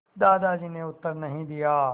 दादाजी ने उत्तर नहीं दिया